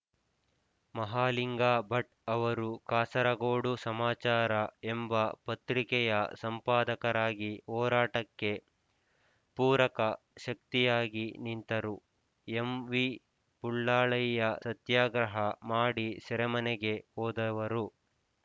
ಮಹಾಲಿಂಗ ಭಟ್ ಅವರು ಕಾಸರಗೋಡು ಸಮಾಚಾರ ಎಂಬ ಪತ್ರಿಕೆಯ ಸಂಪಾದಕರಾಗಿ ಹೋರಾಟಕ್ಕೆ ಪೂರಕ ಶಕ್ತಿಯಾಗಿ ನಿಂತರು ಎಂವಿಬುಳ್ಳಾಳಯ್ಯ ಸತ್ಯಾಗ್ರಹ ಮಾಡಿ ಸೆರೆಮನೆಗೆ ಹೋದವರು